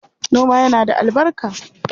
Noma yana da albarka.